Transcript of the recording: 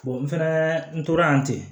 n fɛnɛ n tora yen ten